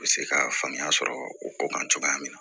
U bɛ se ka faamuya sɔrɔ o ko kan cogoya min na